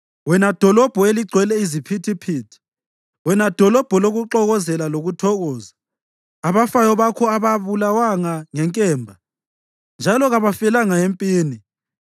wena dolobho eligcwele iziphithiphithi, wena dolobho lokuxokozela lokuthokoza? Abafayo bakho ababulawanga ngenkemba, njalo kabafelanga empini.